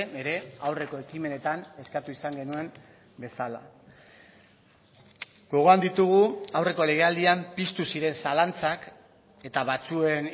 ere aurreko ekimenetan eskatu izan genuen bezala gogoan ditugu aurreko legealdian piztu ziren zalantzak eta batzuen